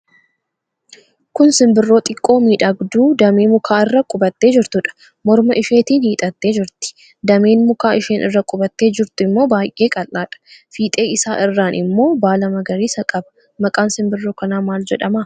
Kun simbirroo xiqqoo, miidhagduu damee mukaa irra qubattee jirtuudha. Morma isheetiin hiixattee jirti. Dameen mukaa isheen irra qubattee jirtu immoo baay'ee qal'aadha. Fiixee isaa irraan immoo baala magariisa qaba. Maqaan simbirroo kanaa maal jedhama?